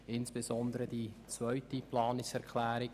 Sie unterstützt insbesondere die zweite Planungserklärung.